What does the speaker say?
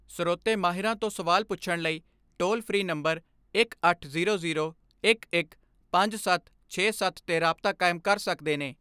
ਸਰੋਤੇ ਮਾਹਿਰਾਂ ਤੋਂ ਸਵਾਲ ਪੁੱਛਣ ਲਈ ਟੋਲ ਫਰੀ ਨੰਬਰ ਅਠਾਰਾਂ ਸੌ ਗਿਆਰਾਂ ਪੰਜ ਹਜਾਰ ਸੱਤ ਸੌ ਸਤਾਹਠ 'ਤੇ ਰਾਬਤਾ ਕਾਇਮ ਕਰ ਸਕਦੇ ਨੇ।